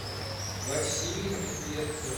василий медведцев